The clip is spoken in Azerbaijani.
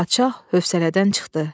Padşah hövsələdən çıxdı.